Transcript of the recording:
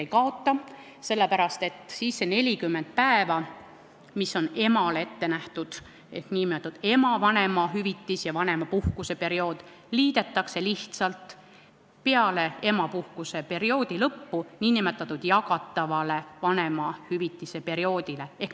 Ei kaota, sest need 40 päeva, mis on emale ette nähtud, ehk nn ema vanemahüvitis ja vanemapuhkuse periood liidetakse lihtsalt peale emapuhkuse perioodi lõppu nn jagatava vanemahüvitise perioodile.